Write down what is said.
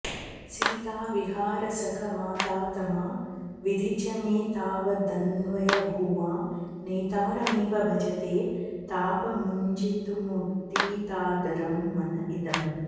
सीताविहारसखमातातमाविधि च मे तावदन्वयभुवां नेतारमेव भजते तापमुज्झितुमुदीतादरं मन इदम्